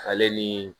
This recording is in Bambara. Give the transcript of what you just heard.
Ale ni